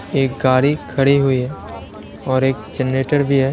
एक गाड़ी खड़ी हुई है और एक जनरेटर भी है।